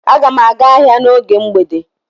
Aga m aga ahịa n’oge mgbede.